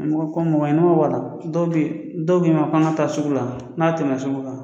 dɔw bɛ dɔw bɛ an ka taa sugu la n'a tɛmɛ sugu kan.